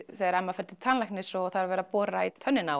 þegar Emma fer til tannlæknis og það er verið að bora í tennurnar